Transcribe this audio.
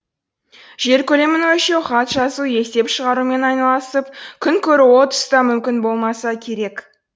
жер көлемін өлшеу хат жазу есеп шығарумен айналысып күн көру ол тұста мүмкін болмаса керек